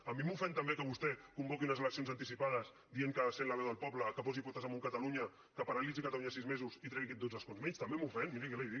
a mi m’ofèn també que vostè convoqui unes eleccions anticipades dient que ha de ser la veu del poble que posi potes amunt catalunya que paralitzi catalunya sis mesos i que tregui dotze escons menys també m’ofèn miri què li dic